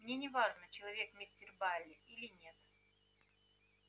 мне не важно человек мистер байерли или нет